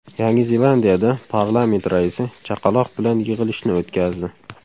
Yangi Zelandiyada parlament raisi chaqaloq bilan yig‘ilishni o‘tkazdi .